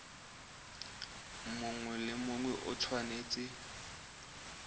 mongwe le mongwe o tshwanetse